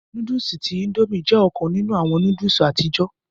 Núdùùsì tí Índòmí jẹ ọkan ninu awọn núdùùsì àtijọ.